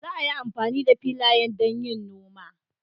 Za a yi amfani da filayen don yin noma.